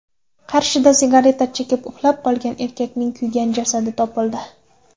Qarshida sigareta chekib, uxlab qolgan erkakning kuygan jasadi topildi.